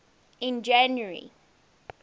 in january